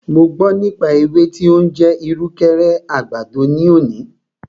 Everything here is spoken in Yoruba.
Mo gbọ́ nípa ewé tí o ń jẹ́ ìrùkẹ̀rẹ̀ àgbàdo ní òní.